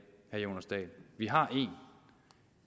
vi har en